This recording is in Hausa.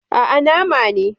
Aa, Nama ne